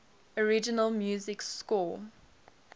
original music score